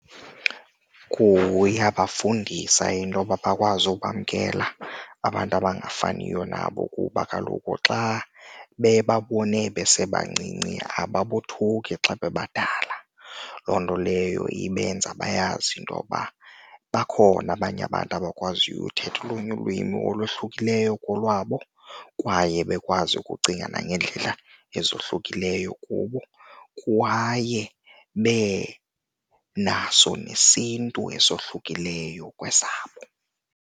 Kuyabafundisa intoba bakwazi ukwamkela abantu abangafaniyo nabo kuba kaloku xa bebabone besebancinci ababothuki xa bebadala. Loo nto leyo ibenza bayazi intoba bakhona abanye abantu abakwaziyo uthetha olunye ulwimi olohlukileyo kolwabo kwaye bekwazi ukucinga nangeendlela ezohlukileyo kubo kwaye benaso nesiNtu esohlukileyo kwesabo.